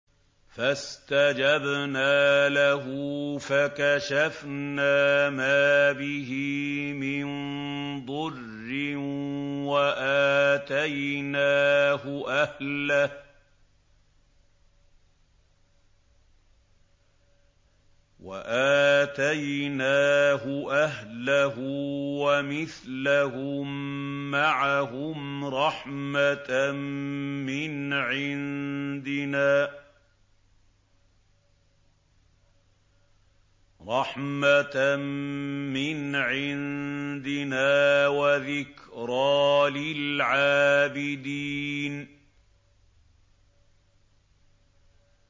فَاسْتَجَبْنَا لَهُ فَكَشَفْنَا مَا بِهِ مِن ضُرٍّ ۖ وَآتَيْنَاهُ أَهْلَهُ وَمِثْلَهُم مَّعَهُمْ رَحْمَةً مِّنْ عِندِنَا وَذِكْرَىٰ لِلْعَابِدِينَ